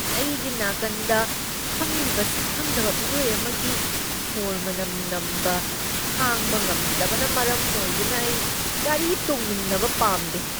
ꯑꯩꯒꯤ ꯅꯥꯀꯟꯗ ꯐꯝꯂꯤꯕ ꯁꯛꯈꯪꯗꯕ ꯃꯤꯑꯣꯏ ꯑꯃꯒꯤ ꯁꯣꯔ ꯃꯅꯝ ꯅꯝꯕ ꯈꯥꯡꯕ ꯉꯝꯗꯕꯅ ꯃꯔꯝ ꯑꯣꯏꯗꯨꯅ ꯑꯩ ꯒꯥꯔꯤ ꯇꯣꯡꯃꯤꯟꯅꯕ ꯄꯥꯝꯗꯦ꯫